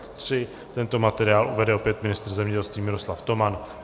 Tento materiál uvede opět ministr zemědělství Miroslav Toman.